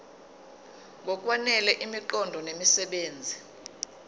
ngokwanele imiqondo nemisebenzi